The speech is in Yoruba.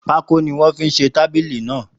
Pákó ni wọ́n fi se tábìlì náà.